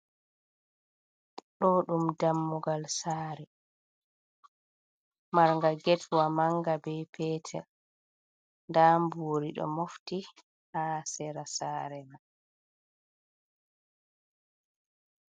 Ɗo ɗum dammugal sare, marnga getwa manga be petel, nda mburi ɗo mofti ha sera sare man.